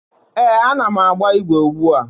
Eh, a na m agba igwe ugbua.